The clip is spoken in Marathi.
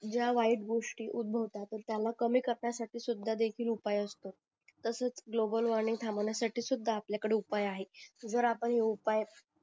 ज्या वाईट गोष्टी उदभवतात त्याला कमी करण्या साठी सुद्धा सुद्धा देखील उपाय असतो तसाच ग्लोबल वॉर्मिंग थांबवण्या साठी सुद्धा आपल्या कडे उपाय आहेत जर आपण हे उपाय